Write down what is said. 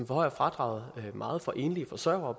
forhøjer fradraget meget for enlige forsørgere